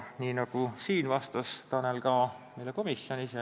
Nii nagu siin, vastas Tanel ka meile komisjonis.